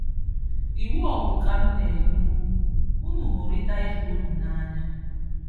Íwú ọ̀hụ̀ ka m̀nényè únù: Ùnù hụ́ríta íbè-únù nǎnyá.